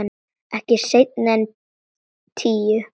Ekki seinna en tíu.